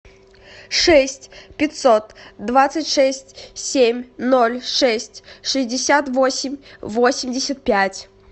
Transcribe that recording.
шесть пятьсот двадцать шесть семь ноль шесть шестьдесят восемь восемьдесят пять